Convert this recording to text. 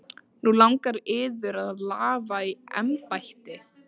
Nú langar yður að lafa í embætti?